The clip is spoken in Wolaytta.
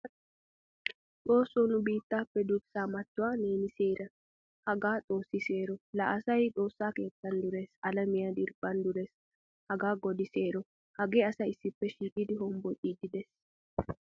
Xoossoo nu biittappe durssa mattuwaa neeni seera. Hagaa xoossi seero. La asaay xoossaa keettan durees; alamiyaa diriphphan durees. Hagaa godi seero. Hagee asay issippe shiiqidi hombboccidi de'ees.